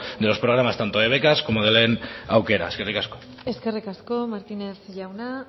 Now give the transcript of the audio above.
de los programas tanto de becas como de lehen aukera eskerrik asko eskerrik asko martínez jauna